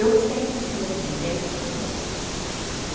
Eu sempre fui assim, desde criança.